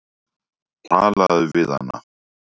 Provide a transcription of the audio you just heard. Talaðu við hana.